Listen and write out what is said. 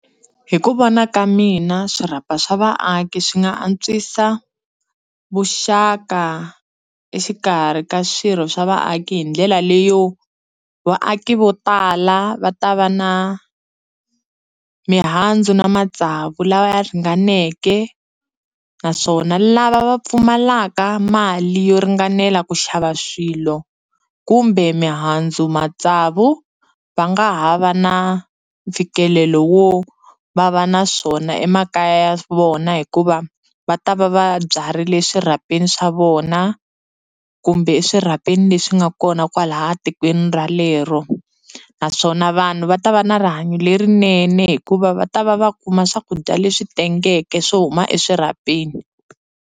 Hi ku vona ka mina swirhapa swa vaaki swi nga antswisa vuxaka exikarhi ka swirho swa vaaki hi ndlela leyo vaaki vo tala va ta va na mihandzu na matsavu lawa ya ringaneke naswona lava va pfumalaka mali yo ringanela ku xava swilo kumbe mihandzu, matsavu va nga ha va na mfikelelo wo va va na swona emakaya ya vona hikuva va ta va va byarile swirhapeni swa vona kumbe eswirhapeni leswi nga kona kwalaya tikweni relero naswona vanhu va ta va na rihanyo lerinene hikuva va ta va va kuma swakudya leswi tengeke swo huma eswirhapeni.